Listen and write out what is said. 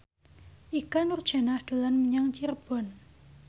Ikke Nurjanah dolan menyang Cirebon